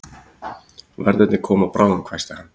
Verðirnir koma bráðum hvæsti hann.